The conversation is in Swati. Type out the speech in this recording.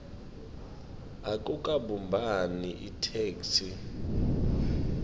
akukabumbani itheksthi